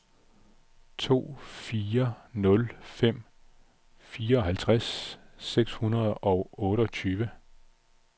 to fire nul fem fireoghalvtreds seks hundrede og otteogtyve